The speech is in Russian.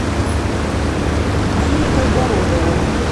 диме кайгородову